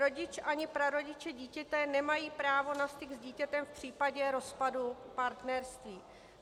Rodič ani prarodiče dítěte nemají právo na styk s dítětem v případě rozpadu partnerství.